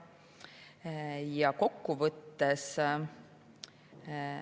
Ja kokkuvõttes.